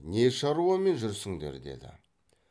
не шаруамен жүрсіңдер деді